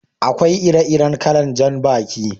Akwai ire-iren kalan jan baki.